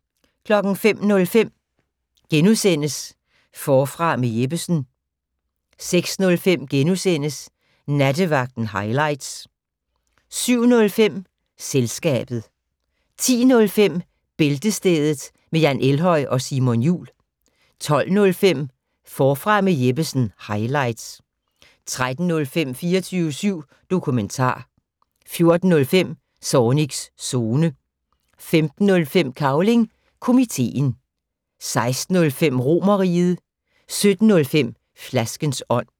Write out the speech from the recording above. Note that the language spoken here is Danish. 05:05: Forfra med Jeppesen * 06:05: Nattevagten highlights * 07:05: Selskabet 10:05: Bæltestedet med Jan Elhøj og Simon Jul 12:05: Forfra med Jeppesen - highlights 13:05: 24syv dokumentar 14:05: Zornigs Zone 15:05: Cavling Komiteen 16:05: Romerriget 17:05: Flaskens ånd